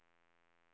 Möja